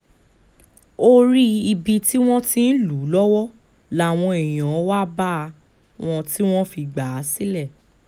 orí ibi tí wọ́n ti ń lù ú lọ́wọ́ làwọn èèyàn wá bá wọn tí wọ́n fi gbà á sílẹ̀